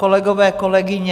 Kolegové, kolegyně -